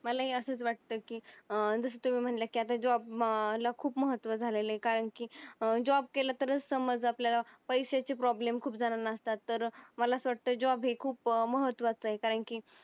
मलाही असंच वाटतं की अं जसं तुम्ही म्हणल्या की job ला खूप महत्त्व झालेलं आहे कारण की अं job केला तरच समज आपल्याला पैशाची problem खूप जणांना असतात तर मला असं वाटतं job हे खूप महत्त्वाचं आहे कारण की